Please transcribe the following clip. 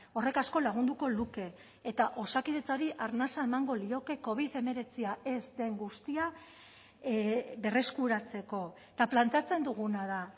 horrek asko lagunduko luke eta osakidetzari arnasa emango lioke covid hemeretzia ez den guztia berreskuratzeko eta planteatzen duguna da